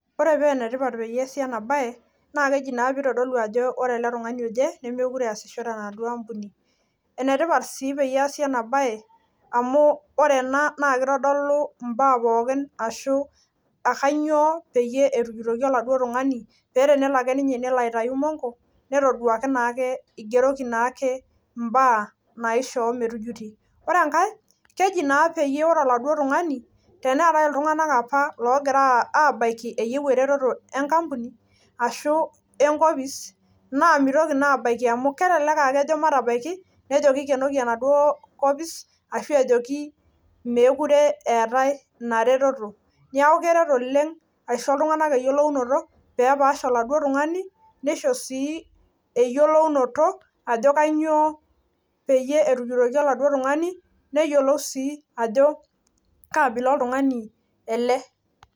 ore paa enetipat peyie esi ena baye naa enetipat sii tenesii enabaye amu tenelo ake nejuti oladuo tung'ani , ore enkae teneetae oltunganak apa oyieu eretoto enkopis naa mitoki naa abaki amu kelek aa kejo matabaki ashu ejoki mee kure eetae ina retoto neeku keret asho eretoto pee epaash oladuo tung'aani , nisho shii eyiolounoto ajo kainyoo pee etujutoki oladuo tung'ani .